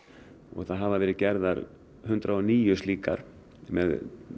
og það hafa verið gerðar hundrað og níu slíkar með